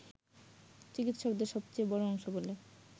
চিকিৎসকদের সবচেয়ে বড়অংশ বলে